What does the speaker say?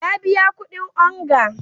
Ya biya kudin onga.